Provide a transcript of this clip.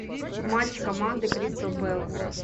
матч команды кристал пэлас